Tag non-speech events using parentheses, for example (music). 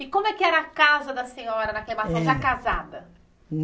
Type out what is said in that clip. E como é que era a casa da senhora naquela (unintelligible) casada?